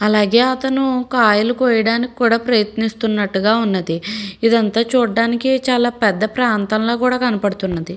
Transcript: అలగేయ్ అతను కాయలు కోయడానికి కూడా ప్రయత్నిస్తున్నట్టుగా ఉన్నదీ. ఇదంతా చూడడానికి పెద్ద ప్రాంతంలాగాకూడా కనపడుతున్నది.